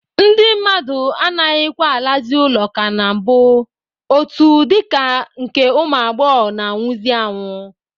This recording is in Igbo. Ndị mmadụ anaghịkwa alazị ụlọ ka na mbụ, otu dịka nke ụmụ agbọghọ na-anwụzị anwụ.